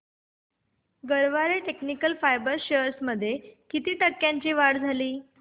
Garware technical fibres shares मध्ये किती टक्क्यांची वाढ झाली